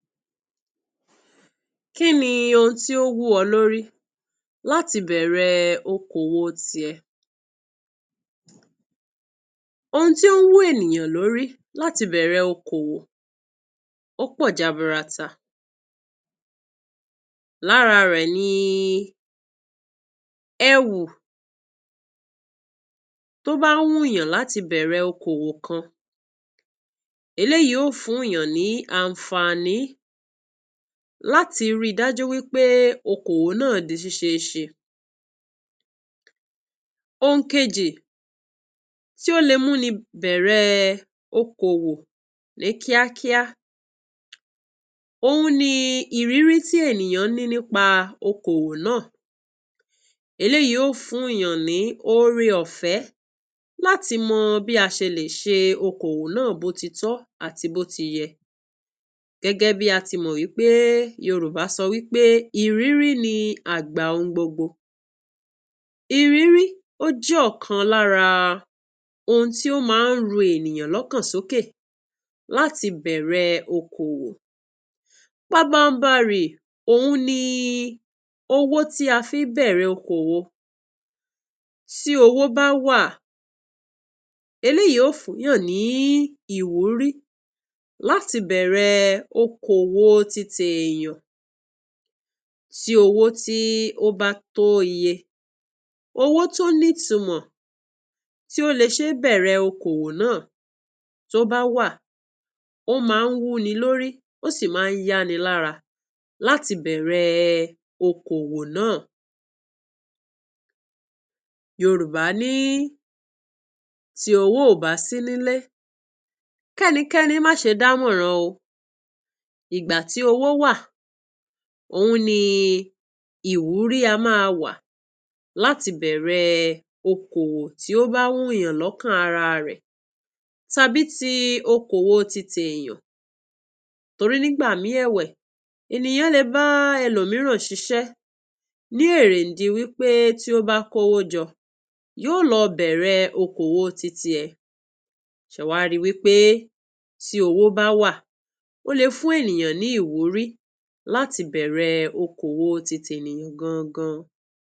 Kín ni ohun tí ó wù ọ lórí láti bẹ̀rẹ̀ ọkòwò tirẹ? Ohun tí ń wù ènìyàn lórí láti bẹ̀rẹ̀ ọkòwò ò pọ̀ jàbùrátà, lára rẹ̀ ni ewu tó bá ń wuyàn láti bẹ̀rẹ̀ ọkòwò kan, èyí yóò fún yàn ní àǹfààní láti rí i dájú wípé ọkòwò náà di ṣíṣeéṣe. Ohun kejì tó lè múni bẹ̀rẹ̀ ọkòwò ní kíákíá ni irírí tí ènìyàn rí nípa ọkòwò náà, èyí óò fún yàn ní ọ̀rẹ́ ọ̀fẹ́ láti mọ bí a ṣe lè ṣe ọkòwò náà bóòtítọ́ àti bó ti yé, gẹ́gẹ́ bí a ti mọ̀ wípé Yorùbá sọ wípé irírí ní àgbà ohun gbogbo. Irírí jẹ́ ọ̀kan lára ohun tí ó máa ń rú ìyàn sókè láti bẹ̀rẹ̀ ọkòwò pábànbàrí. Ohun ni owó tí a fi ń bẹ̀rẹ̀ ọkòwò. Tí owó bá wà, èyí yóò fún yàn ní ìwúrí láti bẹ̀rẹ̀ ọkòwò. Títíèyàn tí owó bá wà tó iye owó tí ó ní ìtúmọ̀ tí ó lè ṣeé bẹ̀rẹ̀ kówò náà, tí ó bá wà, ó máa ń wùni. Lórí òṣì máa ń yàní lárá láti bẹ̀rẹ̀ ọkòwò náà. Yorùbá ní: tí owó ọba sín ilé, kí ẹnìkẹ́ni má ṣe dá mọ́ràn o. Ìgbà tí owó wà, ohun ní ìwúrí á máa wà láti bẹ̀rẹ̀ ọkòwò tí ó bá wùn yàn lókàn ara rẹ̀ tàbí tí ọkòwò títíèyàn. Torí, nígbà míì, èwe ènìyàn lè bá ẹlòmíràn ṣiṣẹ́ ní eréńdìwípé tí wọ́n bá kó owó jọ yóò lọ bẹ̀rẹ̀ ọkòwò títíẹ̀. Ṣe wáríwípé tí owó bá wà, ó lè fún ènìyàn ní ìwúrí láti bẹ̀rẹ̀ ọkòwò títí ènìyàn gángan.